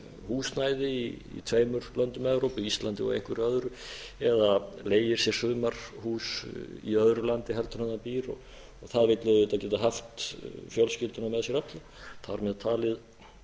húsnæði í tveimur löndum evrópu íslandi og einhverju öðru eða leigir sér sumarhús í öðru landi heldur en það býr það vill auðvitað geta haft fjölskylduna með sér alla þar með talið